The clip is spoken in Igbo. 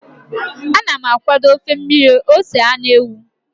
Ana m akwado ofe mmiri ose anụ ewu.